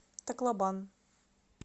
таклобан